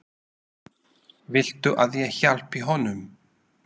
Viltu að ég hjálpi honum?